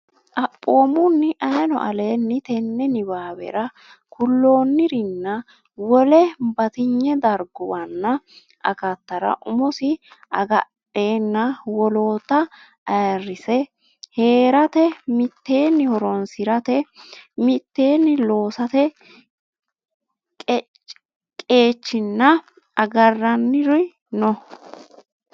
Xaphoomunni, ayeeno aleenni tenne niwaawera kulloonnirinna wole bat- inye darguwaranna akattara umosi agadhenna woloota ayirrise hee’rate, mitteenni horoonsi’rate, mitteenni loosate qeechinna agarranniri noo-.